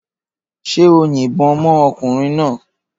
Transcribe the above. Ṣé o yìnbọn mọ́ ọkùnrin náà?